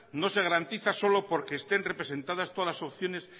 no se garantiza solo porque estén representadas todas las opciones